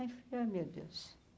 Aí, falei ah meu Deus.